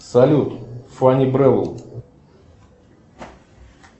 салют фани брэвл